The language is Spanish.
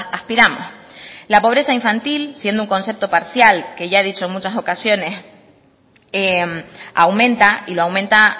aspiramos la pobreza infantil siendo un concepto parcial que ya he dicho en muchas ocasiones aumenta y lo aumenta